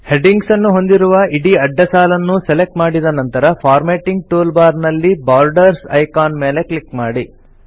headings ಅನ್ನು ಹೊಂದಿರುವ ಇಡೀ ಅಡ್ಡ ಸಾಲನ್ನು ಸೆಲೆಕ್ಟ್ ಮಾಡಿದ ನಂತರ ಫಾರ್ಮ್ಯಾಟಿಂಗ್ ಟೂಲ್ ಬಾರ್ ನಲ್ಲಿ ಬಾರ್ಡರ್ಸ್ ಐಕಾನ್ ಮೇಲೆ ಕ್ಲಿಕ್ ಮಾಡಿ